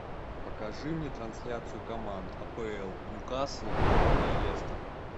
покажи мне трансляцию команд апл ньюкасл и лестер